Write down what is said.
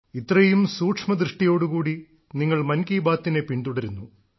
ഇത്രയും സൂക്ഷ്മദൃഷ്ടിയോടു കൂടി നിങ്ങൾ മൻ കി ബാത്തിനെ പിൻതുടരുന്നു